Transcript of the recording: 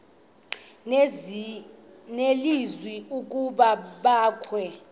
nelizwi ukuba abakhe